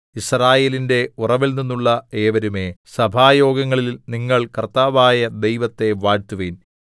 യിസ്രായേലിന്റെ ഉറവിൽനിന്നുള്ള ഏവരുമേ സഭായോഗങ്ങളിൽ നിങ്ങൾ കർത്താവായ ദൈവത്തെ വാഴ്ത്തുവിൻ